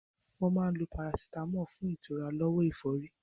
Wọ́n máa ń lo parasitámọ̀ fún ìtura lọ́wọ́ ẹ̀fọ́rí.